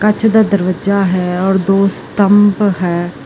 ਕੱਚ ਦਾ ਦਰਵਾਜ਼ਾ ਹੈ ਔਰ ਦੋ ਸਤੰਬ ਹੈ।